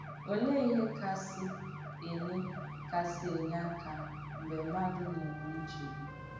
Òleè ìhé kásì ènyè kásì ènyè àkà m̀gbè mmadù nà-ènwè nchègbù?